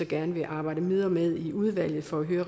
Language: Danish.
gerne vil arbejde videre med i udvalget for at høre